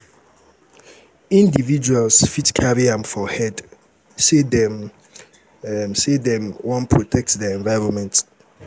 um individuals fit carry am for head sey dem um sey dem um wan protect their environment